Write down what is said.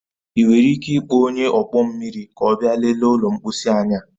Ị nwere ike ịkpọ onye ọkpọ mmiri ka ọ bịa lelee ụlọ mposi anyi a?